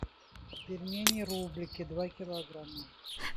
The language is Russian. пельмени рублики два килограмма